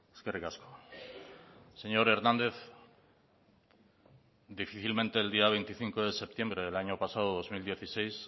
eskerrik asko señor hernández difícilmente el día veinticinco de septiembre del año pasado dos mil dieciséis